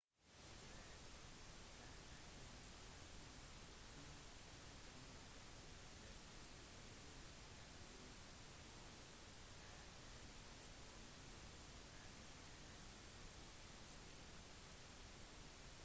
hjulet har endret verden på flotte måter det beste som hjulet har gitt oss er et transportmiddel som er mye enklere og raskere